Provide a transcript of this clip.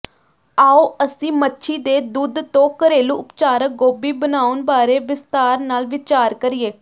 ਆਉ ਅਸੀਂ ਮੱਛੀ ਦੇ ਦੁੱਧ ਤੋਂ ਘਰੇਲੂ ਉਪਚਾਰਕ ਗੋਭੀ ਬਣਾਉਣ ਬਾਰੇ ਵਿਸਥਾਰ ਨਾਲ ਵਿਚਾਰ ਕਰੀਏ